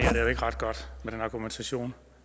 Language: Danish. jo ikke ret godt med den argumentation